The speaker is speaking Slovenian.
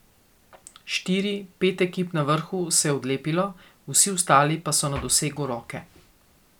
Štiri, pet ekip na vrhu se je odlepilo, vsi ostali pa so na dosegu roke.